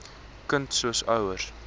kind se ouers